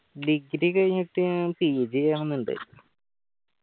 degree കഴിഞ്ഞിട്ട് PG ചെയ്യണം ഇണ്ട്